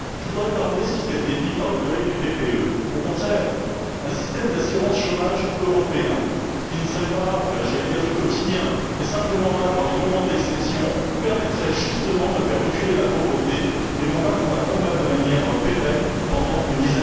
Je voudrais terminer sur ce qui a été dit par notre collègue du groupe PPE. Au contraire, un système d'assurance chômage européen qui ne serait pas, j'allais dire, quotidien, mais qui serait simplement là dans les moments d'exception, permettrait justement de faire reculer la pauvreté et non de la combattre de manière pérenne pendant une dizaine d'années.